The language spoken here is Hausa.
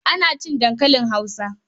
Ina cin dankalin Hausa.